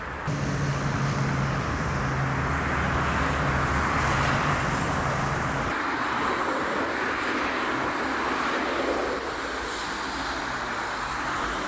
Ölkə ərazisində güclü külək əsəcək, şimşək çaxacaq, bəzi yerlərdə intensiv yağış, dolu düşəcək.